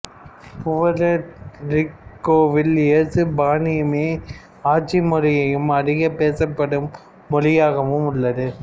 Puerto ரிக்கோவில் எசுப்பானியமே ஆட்சிமொழியும் அதிகம் பேசப்படும் மொழியாகவும் உள்ளது